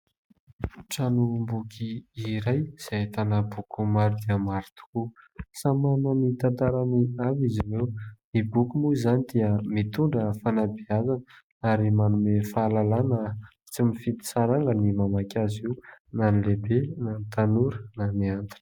Tranom-boky iray izay ahitana boky maro dia maro tokoa. Samy manana ny tantarany avy izy ireo. Ny boky moa izany dia mitondra fanabeazana, ary manome fahalalana. Tsy mifidy saranga ny mamaky azy io na ny lehibe na ny tanora na ny antitra.